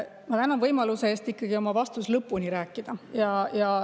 Ma tänan võimaluse eest ikkagi lõpuni vastata.